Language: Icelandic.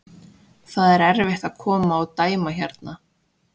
Það er erfitt að koma og dæma hérna.